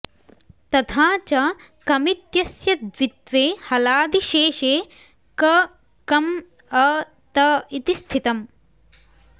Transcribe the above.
तथा च कमित्यस्य द्वित्वे हलादिशेषे क कम् अ त इति स्थितम्